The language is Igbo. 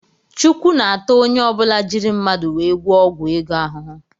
chukwu ns-ata ọnye ọbula jírí mmadụ wee gwụo ọgwụ ego ahụhụ.